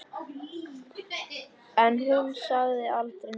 En hún sagði aldrei neitt.